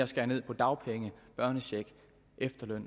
skære ned på dagpenge børnecheck efterløn